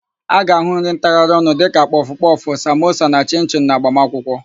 A ga-áhụ̀ nri ntagharịọnụ dịka kpọfụkpọfụ, samosa na chịnchịnụ n'agbamakwụkwọ.